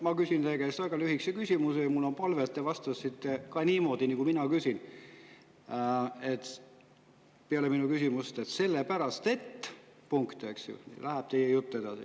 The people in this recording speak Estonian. Ma küsin teie käest väga lühikese küsimuse ja mul on palve, et te vastaksite niimoodi, nagu mina küsin, peale mu küsimust: "Sellepärast et …" ja läheb teie jutt edasi.